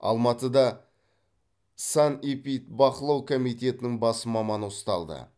алматыда санэпидбақылау комитетінің бас маманы ұсталды